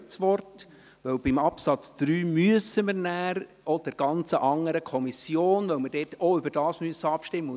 Beim Absatz 3 müssen wir nachher zur Gesetzesvorlage der anderen Kommission wechseln, weil wir dort auch darüber abstimmen müssen.